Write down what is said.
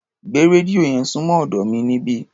Gbé rédíò yẹn súnmọ́ ọ̀dọ́ mi níbí.